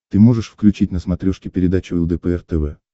ты можешь включить на смотрешке передачу лдпр тв